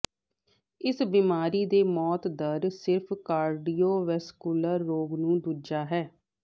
ਇਸ ਬਿਮਾਰੀ ਦੇ ਮੌਤ ਦਰ ਸਿਰਫ਼ ਕਾਰਡੀਓਵੈਸਕੁਲਰ ਰੋਗ ਨੂੰ ਦੂਜਾ ਹੈ